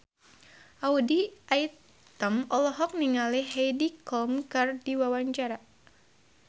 Audy Item olohok ningali Heidi Klum keur diwawancara